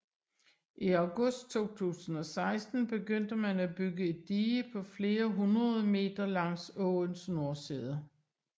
I august 2016 begyndte man at bygge et dige på flere hundrede meter langs åens nordside